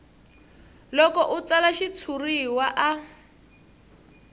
loko a tsala xitshuriwa a